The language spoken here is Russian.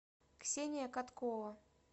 ксения каткова